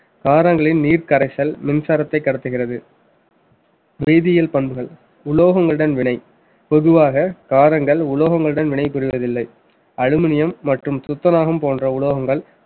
காரங்களில் நீர் கரைச்சல் மின்சாரத்த கடத்துகிறது வேதியியல் பண்புகள் உலோகங்களுடன் வினை பொதுவாக காரங்கள் உலோகங்களுடன் வினைபுரிவது இல்லை அலுமினியம் மற்றும் துத்தநாகம் போன்ற உலோகங்கள்